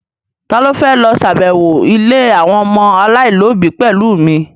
Ta ló fẹ́ lọ ṣàbẹ̀wọ̀ ilé àwọn ọmọ aláìlóbi pẹ̀lú mi?